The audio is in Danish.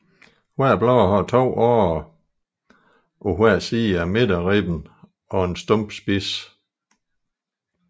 Hvert blad har to årer på hver side af midterribben og er stump spids